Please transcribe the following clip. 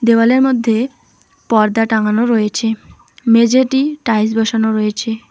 দেওয়ালের মধ্যে পর্দা টাঙানো রয়েছে। মেঝেটি টাইলস বসানো রয়েছে।